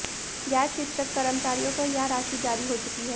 गैर शिक्षक कर्मचारियों को यह राशि जारी हो चुकी है